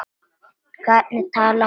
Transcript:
Hvernig talar maður við barn?